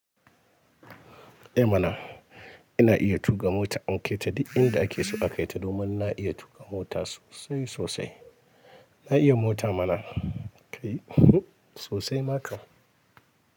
Eh mana ina iya tuƙa mota an kai ta duk inda ake so aka kai ta domin na iya tuƙa mota sosai sosai. Na iya mota mana kai sosai ma kam.